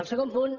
el segon punt